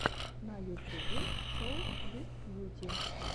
на ютубе шоу бисткьюти